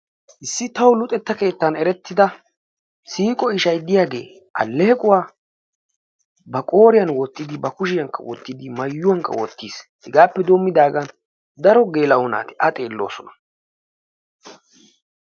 Issi tawu luxetta keettan erettida siiqo ishay diyagee alleequwa ba qooriyan woottidi, ba kushiyankka wottidi maayuwankka wottiis. Hegaappe doommidaagan daro geela'o naati A xeelloosona.